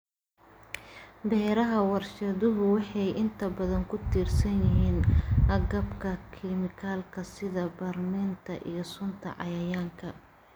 Beeraha warshaduhu waxay inta badan ku tiirsan yihiin agabka kiimikaad sida bacriminta iyo sunta cayayaanka.